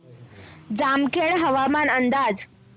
जामखेड हवामान अंदाज